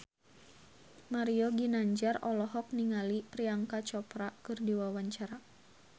Mario Ginanjar olohok ningali Priyanka Chopra keur diwawancara